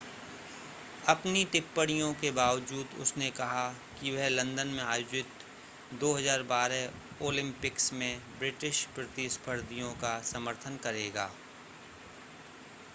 अपनी टिप्पणियों के बावजूद उसने कहा कि वह लंदन में आयोजित 2012 ओलिम्पिक्स में ब्रिटिश प्रतिस्पर्धियों का समर्थन करेगा